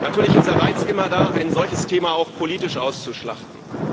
Natürlich ist der Reiz immer da, ein solches Thema auch politisch auszuschlachten.